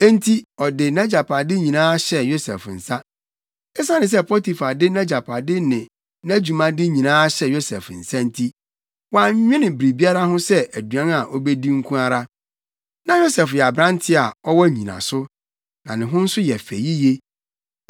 Enti ɔde nʼagyapade nyinaa hyɛɛ Yosef nsa. Esiane sɛ Potifar de nʼagyapade ne nʼadwumade nyinaa hyɛɛ Yosef nsa nti, wannwene biribiara ho sɛ aduan a obedi nko ara. Na Yosef yɛ aberante a ɔwɔ nnyinaso, na ne ho nso yɛ fɛ yiye.